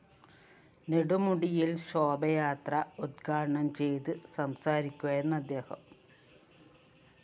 നെടുമുടിയില്‍ ശോഭായാത്ര ഉ ദ്ഘാടനം ചെയ്ത് സംസാരിക്കുകയായിരുന്നു അദ്ദേഹം